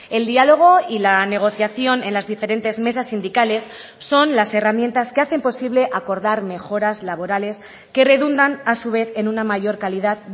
el diálogo y la negociación en las diferentes mesas sindicales son las herramientas que hacen posible acordar mejoras laborales que redundan a su vez en una mayor calidad